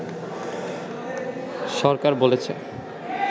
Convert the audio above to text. সরকার বলেছে